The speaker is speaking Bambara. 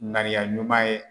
Ŋaniya ɲuman ye